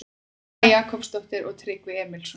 Svava Jakobsdóttir og Tryggvi Emilsson.